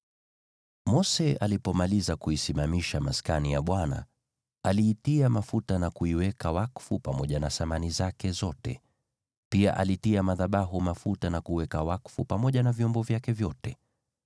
Mose alipomaliza kuisimamisha Maskani, aliitia mafuta na kuiweka wakfu pamoja na samani zake zote. Pia alitia madhabahu mafuta na kuiweka wakfu, pamoja na vyombo vyake vyote.